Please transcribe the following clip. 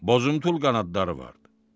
Bozumtul qanadları vardı.